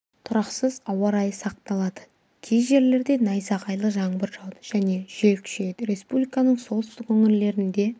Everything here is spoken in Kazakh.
тұрақсыз ауа райы сақталады кей жерлерде найзағайлы жаңбыр жауады және жел күшейеді республиканың солтүстік өңірлерінде